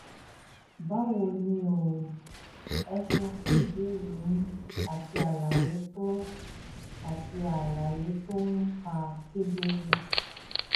báwo ni o? ẹ ṣeun fún ìbéèrè yín àti àlàyé tó àti àlàyé tó hàn kedere